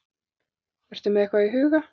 Ertu með eitthvað í huga?